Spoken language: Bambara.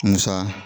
Musa